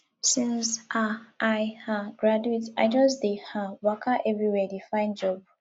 since um i um graduate i just dey um waka everywhere dey find job